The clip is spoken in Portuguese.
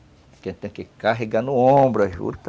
Porque tem que carregar no ombro a juta.